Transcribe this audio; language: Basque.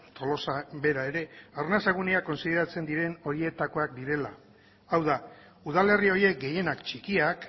tolosa bera ere arnasa gunea kontsideratzen diren horietakoak direla hau da udalerri horiek gehienak txikiak